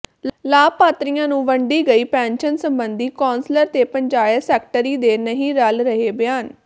ਲਾਭਪਾਤਰੀਆਂ ਨੂੰ ਵੰਡੀ ਗਈ ਪੈਨਸ਼ਨ ਸੰਬੰਧੀ ਕੌਸ਼ਲਰ ਤੇ ਪੰਚਾਇਤ ਸੈਕਟਰੀ ਦੇ ਨਹੀ ਰਲ ਰਹੇ ਬਿਆਨ